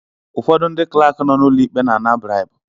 Ụfọdụ ndị clerk nọ n'ụlọ ikpe na ana bribu.